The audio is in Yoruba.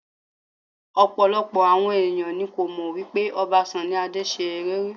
Ọ̀pọ̀lọpọ̀ àwọn ẹ̀yàn ni kò mọ̀ wípé Ọba Sunny Adé ṣe eré rí.